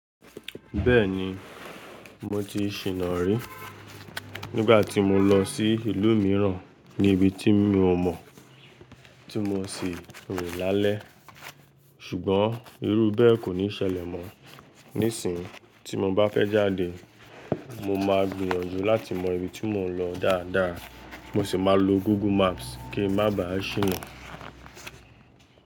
Bẹ́ẹ̀ni, mo ti ṣìna rí nígbà tí mo lọ sí ìlú mìíràn ní ibi tí mi ò mọ̀ tí mo sì rin lálẹ́. Ṣùgbọ́n irú bẹ́ẹ̀ kò ní ṣẹlẹ̀ mọ. Nísìínyi tí mo bá fẹ́ jáde, mo máa gbìyànjú láti mọ ibi tí mò ń lọ dáadáa. Mo sì máa lo Google Maps kí n má ba à ṣìnrín.